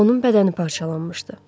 Onun bədəni parçalanmışdı.